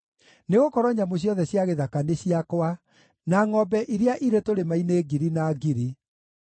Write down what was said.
nĩgũkorwo nyamũ ciothe cia gĩthaka nĩ ciakwa, na ngʼombe iria irĩ tũrĩma-inĩ ngiri na ngiri.